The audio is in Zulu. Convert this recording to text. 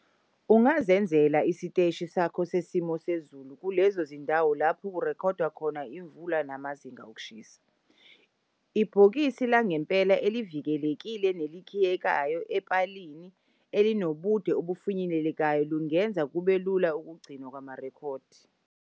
Ungazenzela isiteshi sakho sesimo sezulu kulezo zindawo lapho kurekhodwa khona imvula namazinga okushisa. Ibhokise langempela elivikelekile nelikhiyekayo epalini ilinobude obufinyelelekayo lingenza kube lula ukugcinwa kwamarekhodi.